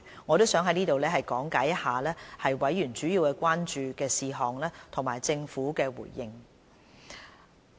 我想在此講解一下委員主要關注的事項和政府的回應。